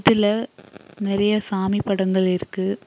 இதுல நெறைய சாமி படங்கள் இருக்கு.